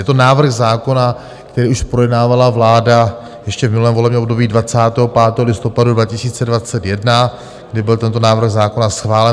Je to návrh zákona, který už projednávala vláda ještě v minulém volebním období 25. listopadu 2021, kdy byl tento návrh zákona schválen.